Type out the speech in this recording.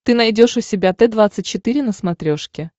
ты найдешь у себя т двадцать четыре на смотрешке